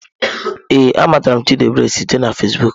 Ee, a matara m Chidiebere site na Fezbuuku.